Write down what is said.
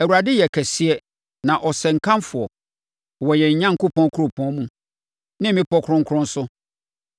Awurade yɛ kɛseɛ na ɔsɛ nkamfo wɔ yɛn Onyankopɔn kuropɔn mu, ne bepɔ kronkron so.